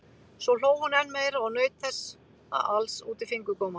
Svo hló hún enn meira og naut þessa alls út í fingurgóma.